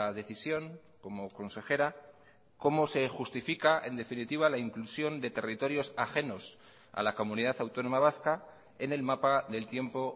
decisión como consejera cómo se justifica en definitiva la inclusión de territorios ajenos a la comunidad autónoma vasca en el mapa del tiempo